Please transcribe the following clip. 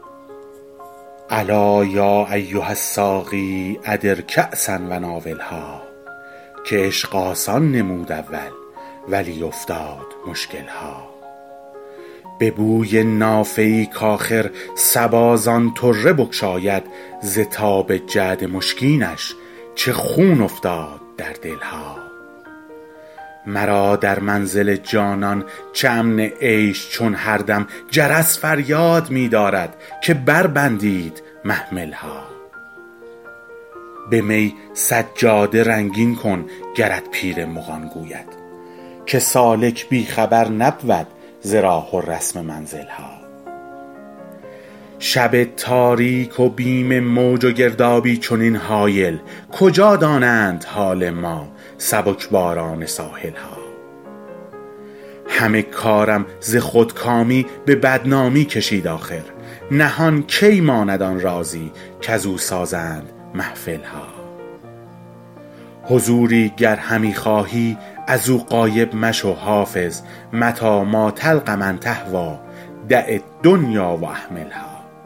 الا یا ایها الساقی ادر کأسا و ناولها که عشق آسان نمود اول ولی افتاد مشکل ها به بوی نافه ای کآخر صبا زان طره بگشاید ز تاب جعد مشکینش چه خون افتاد در دل ها مرا در منزل جانان چه امن عیش چون هر دم جرس فریاد می دارد که بربندید محمل ها به می سجاده رنگین کن گرت پیر مغان گوید که سالک بی خبر نبود ز راه و رسم منزل ها شب تاریک و بیم موج و گردابی چنین هایل کجا دانند حال ما سبک باران ساحل ها همه کارم ز خودکامی به بدنامی کشید آخر نهان کی ماند آن رازی کزو سازند محفل ها حضوری گر همی خواهی از او غایب مشو حافظ متیٰ ما تلق من تهویٰ دع الدنیا و اهملها